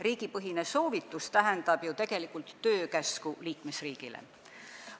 Riigipõhine soovitus tähendab ju tegelikult liikmesriigile töökäsku.